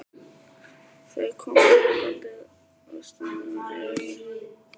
Þau koma hlaupandi og stumra yfir mér.